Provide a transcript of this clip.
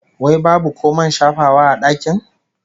Wai babu ko man shafawa a dakin?